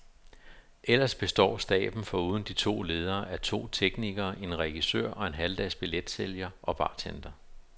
Ellers består staben foruden de to ledere af to teknikere, en regissør og en halvdags billetsælger og bartender.